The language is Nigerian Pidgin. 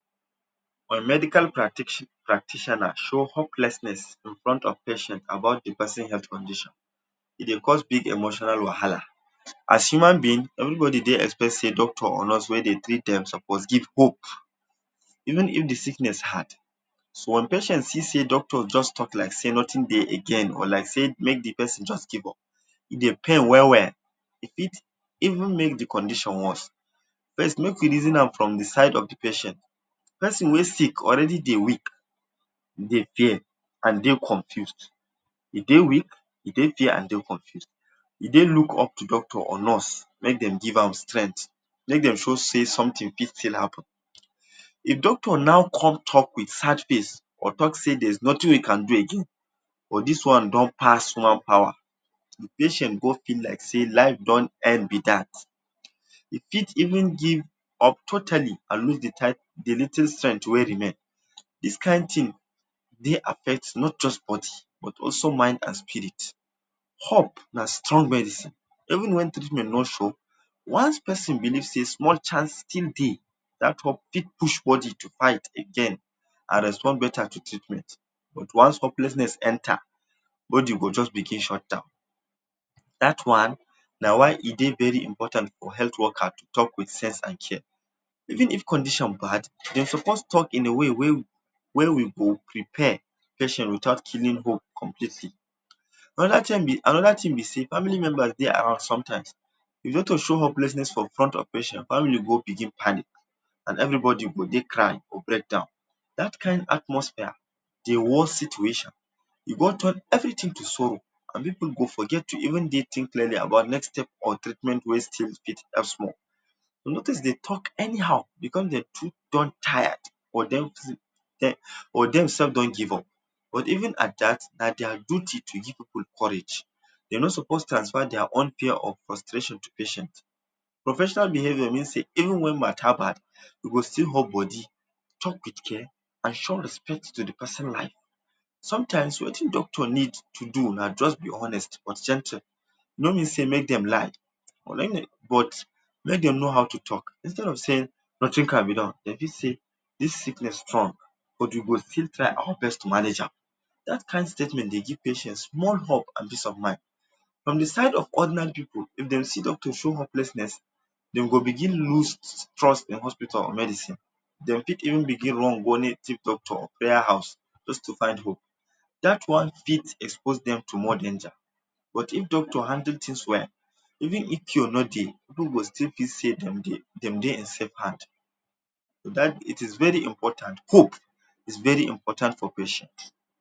Medical practitioner show hopelessness in front of patient about de person health condition. E de cause big emotional wahala. As human being, pipu dey expect sey doctor or nurse wey dey treat dem suppose give dem hope even if de sickness hard. Once patients don see sey just talk like sey nothing dey again or like sey make de person just give up e dey pain well well. E fit even make de condition worse. First make we reason am from de side of de patient. Person wey sick already dey weak and dry confused. E dey weak and e dey confused. Dey look up to doctors or nurse make dem give am strength, make dem show sey something fit still happen. If Doctor now comes talk with sad face or talk set there is nothing we can do again, for this one don pass man power, e patient go be like sey life don end be that. E fit even give up totally and lose de little strength wet remain. This kind thing dey affect not just somebody but also mind and spirit. Hope na strong medicine even when treatment no sure, once person believe one chance for dey that hope fit push body to fight again and respond beta to treatment. But once hopelessness enta body go just begin shutdown. that one, na why e dey very important for health worker to talk with sense and care. Even if condition bad, dem suppose talk in a way wey we go prepare patient without killing hope completely. Another thing, another thing be sey, family members dey around sometimes. E no need to show hopelessness before patient make family no begin panic and everybody go dey cry, go breakdown. That kind atmosphere dey worse situation. e go come turn everything to sorrow. Pipu go forget to even think clearly about next step or think clearly about treatment wey still dey elsewhere. talk anyhow. E come dey too don tire but then elf don't give up. Even at that na their duty to give people courage. dey are not suppose to transfer their own share of frustration from patient to patient. Professional behaviour mean sey even when mata bad, you go still hold body talk with care and show respect to de person life. Sometimes wetin doctors need to do na just be honest but gentle; e no mean sey make dem lie but let dem know how to talk. Instead of saying nothing can be done, say this sickness strong but we go still try our best to manage am. That kind statement dey give patient small hope and peace of mind. On de side of ordinary pipu, if dem see doctor show hopelessness, dem go begin loose trust in hospital or medicine. De go fit even begin run go meet native doctor, prayer house just to find hope. That one fit expose dem to more danger. But if doctor handle things well, even if cure no dey, pipu go fit still think sey dem dey safe hands. That is very important, hope is very important for patient.